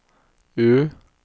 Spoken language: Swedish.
U